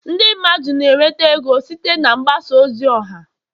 ndị mmadụ na-enweta ego site na mgbasa ozi ọha